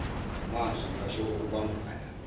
ngamazwi basho ukubambana